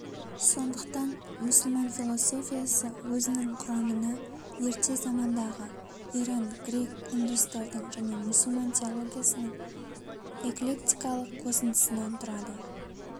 сондықтан мұсылман философиясы өзінің кұрамына ерте замандағы иран грек индустардың және мұсылман теологиясының эклектикалық қосындысынан тұрады